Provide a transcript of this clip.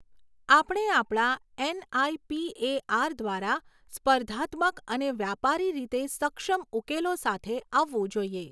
આપણે આપણા એનઆઈપીએઆર દ્વારા સ્પર્ધાત્મક અને વ્યાપારી રીતે સક્ષમ ઉકેલો સાથે આવવું જોઈએ.